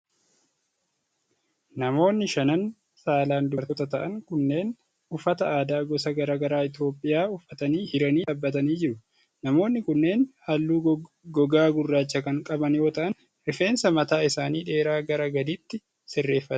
Namoonni shanan saalan dubartoota ta'an kunneen, uffata aadaa gosa garaa garaa Itoophiyaa uffatanii hiriiranii dhaabatanii jiru. Namoonni kunneen haalluu gogaa gurraacha kan qaban yoo ta'an, rifeensa mataa isaanii dheeraa gara gadiitti sirreeffatanii jiru.